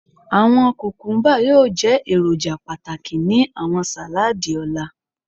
Awọn kukumba yoo jẹ eroja pataki ni awọn saladi ọla